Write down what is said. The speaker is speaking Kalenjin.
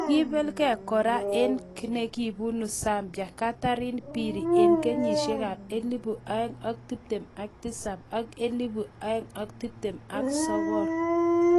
Kiiibelgei kora ak nekibunu Zambia , Catherine Phiri eng kenyisiek ab elebu oeng ak tiptem ak tisap ak elebu oeng ak tiptem ak sokol